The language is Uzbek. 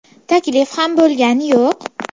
Taklif ham bo‘lgani yo‘q.